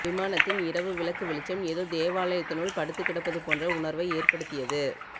விமானத்தின் இரவு விளக்கு வெளிச்சம் ஏதோ தேவாலயத்தினுள் படுத்துகிடப்பது போன்ற உணர்வை ஏற்படுத்தியது